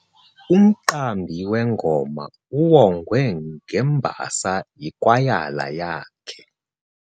Umqambi wengoma uwongwe ngembasa yikwayala yakhe.